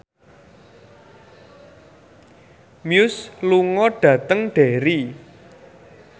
Muse lunga dhateng Derry